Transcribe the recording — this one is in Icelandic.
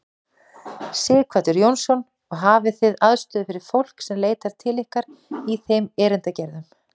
Sighvatur Jónsson: Og hafið þið aðstöðu fyrir fólk sem leitar til ykkar í þeim erindagerðum?